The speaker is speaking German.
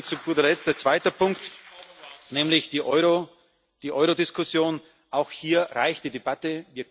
Zu guter Letzt ein zweiter Punkt, nämlich die Euro Diskussion Auch hier reicht die Debatte.